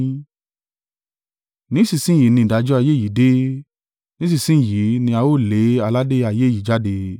Ní ìsinsin yìí ni ìdájọ́ ayé yìí dé: nísinsin yìí ni a ó lé aládé ayé yìí jáde.